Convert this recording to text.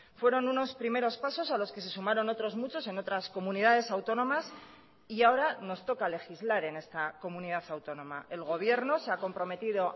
fueron unos primeros pasos a los que se sumaron otros muchos en otras comunidades autónomas y ahora nos toca legislar en esta comunidad autónoma el gobierno se ha comprometido